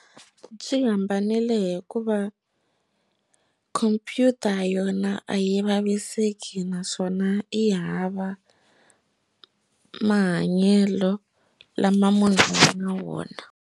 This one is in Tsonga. Byi hambanile hikuva khompyuta yona a yi vaviseki naswona yi hava mahanyelo lama munhu a nga na wona.